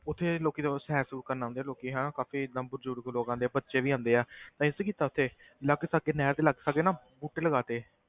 ਉੱਥੇ ਲੋਕੀ ਜਦੋਂ ਸੈਰ ਸੂਰ ਕਰਨ ਆਉਂਦੇ ਆ ਲੋਕੀ ਹਨਾ ਕਾਫ਼ੀ ਏਦਾਂ ਬਜ਼ੁਰਗ ਲੋਕ ਆਉਂਦੇ ਆ ਬੱਚੇ ਵੀ ਆਉਂਦੇ ਆ ਤਾਂ ਅਸੀਂ ਕੀ ਕੀਤਾ ਉੱਥੇ ਲਾਗੇ ਸਾਗੇ ਨਹਿਰ ਦੇ ਲਾਗੇ ਸਾਗੇ ਨਾ ਬੂਟੇ ਲਗਾ ਦਿੱਤੇ।